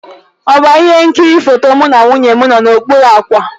Ọba ihe nkiri foto mụ na nwunye m nọ n'okpuru ákwà.